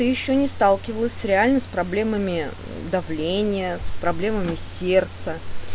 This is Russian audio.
ты ещё не сталкивалась реально с проблемами давления с проблемами сердца